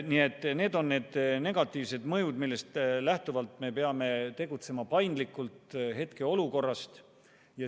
Nii et need on need negatiivsed mõjud, millest lähtuvalt me peame hetkeolukorras paindlikult tegutsema.